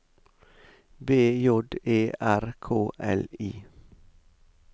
B J E R K L I